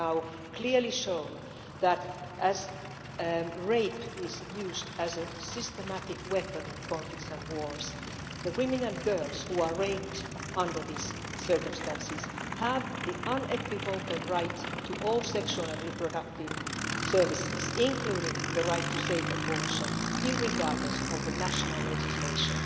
It has now been clearly shown that rape is used as a systematic weapon in conflicts and wars, and the women and girls who are raped under those circumstances have the unequivocal right to all sexual and reproductive services, including the right to safe abortion, regardless of national legislation.